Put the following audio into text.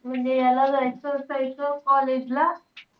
म्हणजे याला जायचं असायचं college ला.